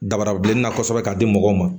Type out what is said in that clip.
Dabarabilenna kosɛbɛ ka di mɔgɔw ma